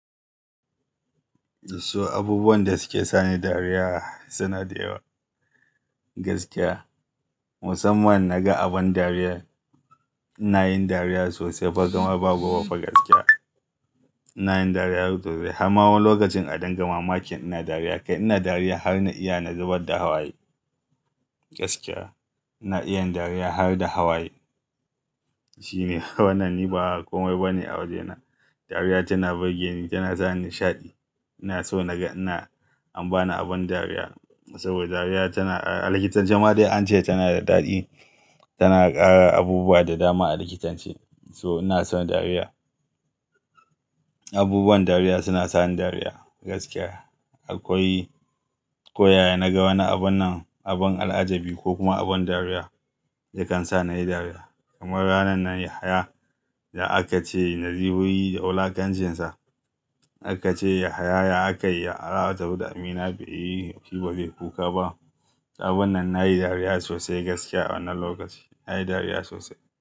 So abubuwan da suke sani dariya suna da yawa. Gaskiya musamman na ga abin dariya ina yin dariya sosai. Kamar ba gobe fa gaskiya. Ina yin dariya sosai har ma lokacin a din ga mamakin ina dariya. Kai ina dariya har na iya zubar da hawaye. Gaskiya ina iya dariya har da hawaye. Shi ne wannan ni ba komai ba ne a wajena. Dariya tana birgeni ni tana sa ni nishaɗi. Ina so naga ina an bani abin dariya saboda dariya tana a likitancin ma dai ance tana da daɗi. Tana ƙara abubuwa da dama a likitanci. So ina son dariya. Abubuwan dariya suna sani dariya gaskiya. Akwai koyaya na ga wani abun nan abun al'ajabi ko kuma abun dariya da kan sa nayi dariya. Kamar ranan nan Yahaya da aka ce nazibuyi da wulakanjinsa. Aka ce Yahaya aka yi araba abu da Amina bai yi shi ba zai kuka ba. Abun nan nayi dariya sosai gaskiya wannan lokaci nayi dariya sosai.